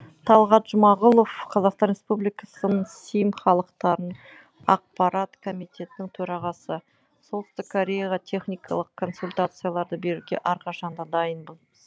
талғат жұмағұлов қазақстан республикасы сім халықаралық ақпарат комитетінің төрағасы солтүстік кореяға техникалық консультацияларды беруге әрқашанда дайынбыз